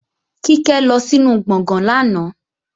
Kíkẹ́ lọ sínu gbọ̀gán lánàá